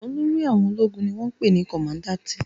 Olórí àwọn ológun ni wọ́n ń pè ní kọmadáǹtì